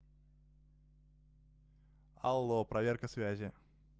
алло проверка связи